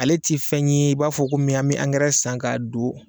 Ale tɛ fɛn ye i b'a fɔ komi an bɛ angɛrɛ san ka don